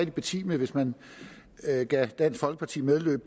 betimeligt hvis man gav dansk folkeparti medhold